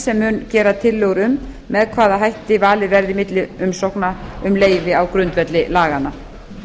sem mun gera tillögur um með hvaða hætti valið verði milli umsókna um leyfi á grundvelli laganna